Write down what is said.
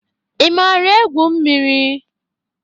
I maara egwu mmiri?